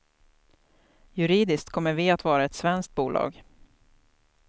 Juridiskt kommer vi att vara ett svenskt bolag.